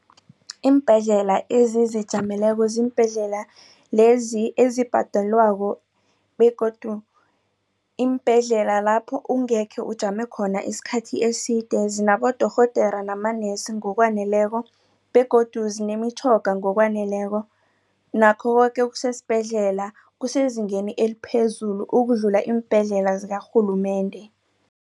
Iimbhedlela ezizijameleko ziimbhedlela lezi ezibhadelwako begodu iimbhedlela lapho ungekhe ujame khona isikhathi eside zinabodorhodera namanesi ngokwaneleko begodu zinemitjhoga ngokwaneleko nakho koke okusesibhedlela kusezingeni eliphezulu ukudlula iimbhedlela zikarhulumende.